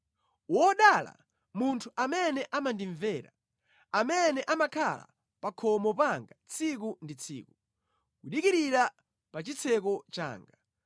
Wodala munthu amene amandimvera, amene amakhala pa khomo panga tsiku ndi tsiku, kudikirira pa chitseko changa.